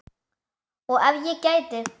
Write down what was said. Og ef ég gæti.?